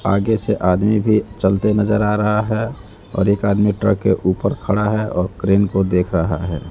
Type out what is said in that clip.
आगे से आदमी भी चलते नजर आ रहा है और एक आदमी ट्रक के ऊपर खड़ा है और क्रेन को देख रहा है।